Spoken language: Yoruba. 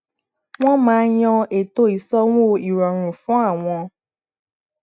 wọn máa yan ètò ìsanwó ìrọrùn fún àwọn